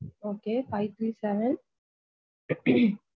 Okay five three seven.